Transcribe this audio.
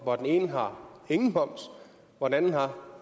for den ene har ingen moms og den anden har